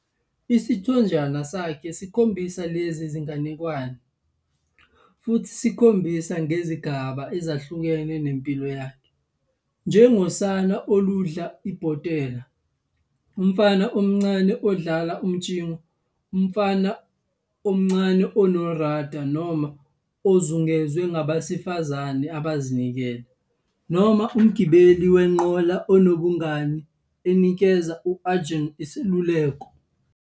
Isithonjana sakhe sikhombisa lezi zinganekwane, futhi simkhombisa ngezigaba ezahlukene zempilo yakhe, njengosana oludla ibhotela, umfana omncane odlala umtshingo, umfana omncane onoRadha noma ozungezwe ngabesifazane abazinikele, noma umgibeli wenqola onobungane enikeza u-Arjuna iseluleko.